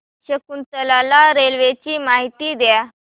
Shakuntala railway ची माहिती द्या